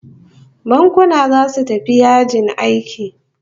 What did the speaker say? Bankuna zasu tafi yajin aiki